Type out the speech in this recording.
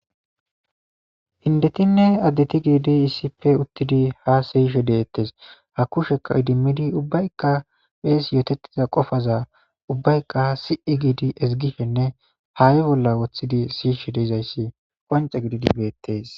Hindetinne addeti giidi issippe uttidi ha siyishe deettes ha kushekka idimmidi ubbaykka phees yootettiza qofaza ubbaykka si'i giidi ezigifenne haa'i bolla wothidi siyishe deizayssi qonce gididi beettees.